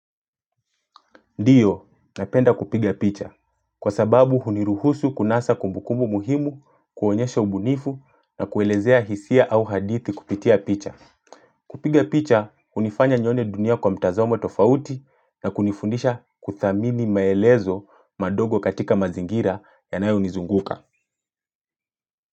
Ndiyo napenda kupiga picha kwa sababu huniruhusu kunasa kumbukumu muhimu kuonyesha ubunifu na kuelezea hisia au hadithi kupitia picha. Kupiga picha unifanya nione dunia kwa mtazamo tofauti na kunifundisha kuthamini maelezo madogo katika mazingira yanayo nizunguka.